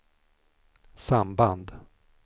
samband